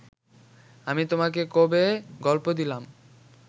আমি তোমাকে কবে গল্প দিলাম